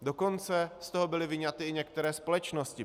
Dokonce z toho byly vyňaty i některé společnosti.